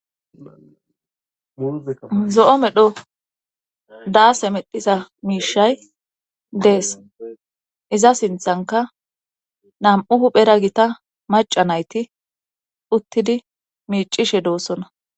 Zo7o medho daase medhisa miishay dees iza sinthanka nam7u huphera gita maca nayti uttidi miicishe doossona.